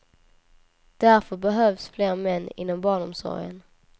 Därför behövs fler män inom barnomsorgen.